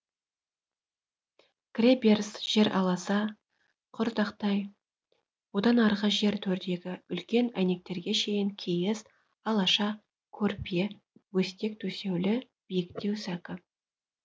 кіре беріс жер аласа құр тақтай одан арғы жер төрдегі үлкен әйнектерге шейін киіз алаша көрпе бөстек төсеулі биіктеу сәкі